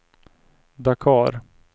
Dakar